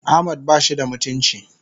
Ahmad bashi da mutunci.